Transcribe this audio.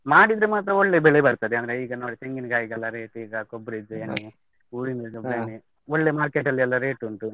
ಮಾಡಿದ್ರೆ ಮಾತ್ರ ಒಳ್ಳೆ ಬೆಲೆ ಬರ್ತದೆ, ಅಂದ್ರೆ ಈಗ ನೋಡಿ ತೆಂಗಿನ್ಕಾಯಿಗೆಲ್ಲ rate ಈಗ ಕೊಬ್ರಿದ್ದು ಎಣ್ಣೆ, ಊರಿಂದ್ ಕೊಬ್ರಿ ಎಣ್ಣೆ ಒಳ್ಳೆ market ಅಲ್ಲೆಲ್ಲಾ rate ಉಂಟು.